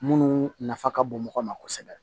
Munnu nafa ka bon mɔgɔ ma kosɛbɛ